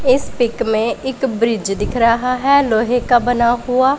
इस पिक में एक ब्रिज दिख रहा है लोहे का बना हुआ--